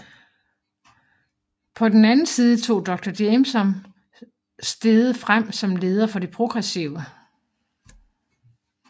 På den andren side tog dr Jameson steget frem som leder for de progressive